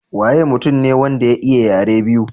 Waye mutum ne wanda ya iya yare biyu?